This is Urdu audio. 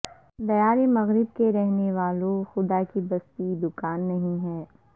دیار مغرب کے رہنے والو خدا کی بستی دکان نہیں ہے